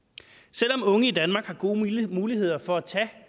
selv om unge i danmark har gode muligheder for at tage